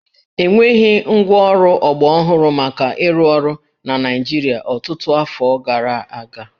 E nweghị ngwaọrụ ọgbarọhụrụ maka ịrụ ọrụ na Naịjịrịa ọtụtụ afọ gara aga